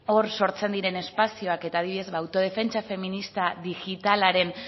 hor sortzen diren espazioak eta adibidez autodefentsa feminista digitalaren